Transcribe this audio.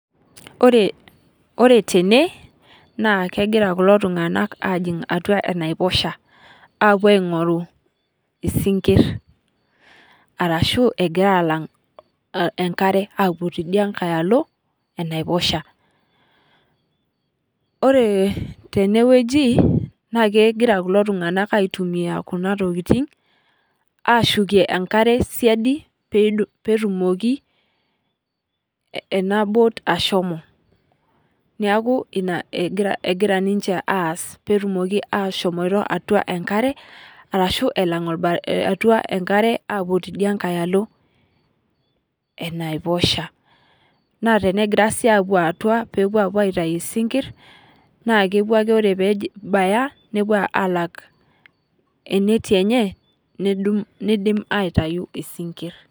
Ore tene naa kegira kulo tunganak ajing atua enaiposha apuo aingoru isinkir orashu alang enkare apuo tidiankae alo enaiposha. ore teneweji naa kegira kulo tunganak aitumiyia Kuna tokiting ashukie enkare siadi pee etumoki ena boat ashomo ,neeku ina egira ninche aas pee etumoki ashomo atua enkare orashu alang apuo tidiankae alo eneiposha. naa tenegirae sii apuo atua aiatayu isikira, naa kepuo ake ore pee ebaya nepuo alak eneti enye neidim aitayu isikir.